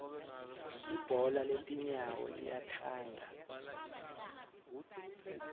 libhola letinyawo liyakhanga